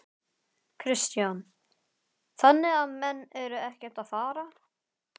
Kristján: Þannig að menn eru ekkert að fara?